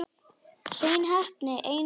Hrein heppni einu sinni enn.